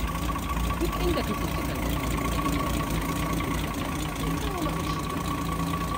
Duk inda ka tsinci kanka, ka riƙa girmama mutane saboda hakan zai kawo maka ci gaba.